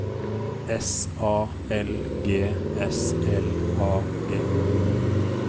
S A L G S L A G